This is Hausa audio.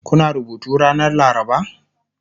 Kuna rubutu ranar laraba?